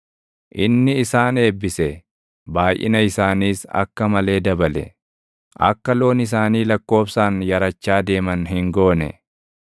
Inni isaan eebbise; baayʼina isaaniis akka malee dabale; akka loon isaanii lakkoobsaan yarachaa deeman hin goone.